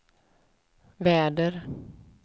väder